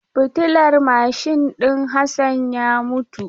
Fitilar mashin din Hassan ya mutu.